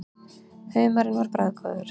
Humarinn var bragðgóður.